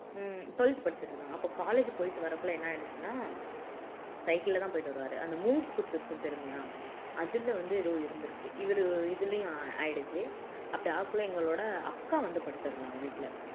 உம் twelfth படிச்சுட்டு இருந்தாங்க அப்போ college போயிட்டு வரக்குள்ள என்ன ஆயிடுச்சுன்னா சைக்கிள்ல தான் போயிட்டு வருவாரு அந்த மூங்கி குத்து இருக்கும் தெரியுமா அதுல வந்து ஏதோ இருந்துருக்கு இவரு இதுலயும் ஆ ஆயிடுச்சு அப்படி ஆகக்குள்ள எங்களோட அக்கா வந்து படுத்துருந்தாங்க வீட்டில